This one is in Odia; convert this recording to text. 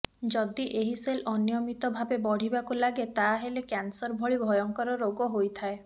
ଯଦି ଏହି ସେଲ୍ ଅନିୟମିତ ଭାବେ ବଢ଼ିବାକୁ ଲାଗେ ତାହାଲେ କ୍ୟାନସର ଭଳି ଭୟଙ୍କର ରୋଗ ହୋଇଥାଏ